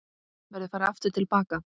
Verður farið aftur til baka?